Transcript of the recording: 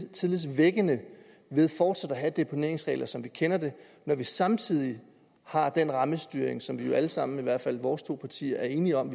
tillidsvækkende ved fortsat at have deponeringsregler som vi kender dem når vi samtidig har den rammestyring som vi jo alle sammen i hvert fald vores to partier er enige om